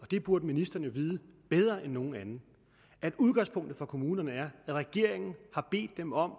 og det burde ministeren vide bedre end nogen anden at udgangspunktet for kommunerne er at regeringen har bedt dem om at